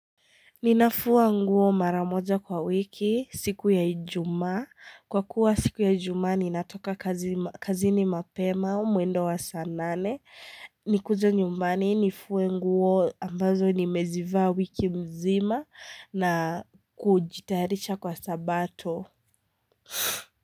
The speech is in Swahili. Ninafua nguo maramoja kwa wiki, siku ya ijumaa. Kwa kuwa siku ya ijumaa, ninatoka kazini mapema, mwendo wa saa nane. Nikuje nyumbani, nifuwe nguo ambazo nimezivaa wiki mzima na kujitayarisha kwa sabato.